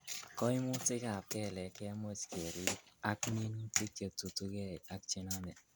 Koimutikab kelek kemuch kerib ak minutik chetutugei ak chenome.